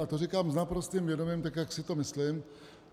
A to říkám s naprostým vědomím, tak jak si to myslím.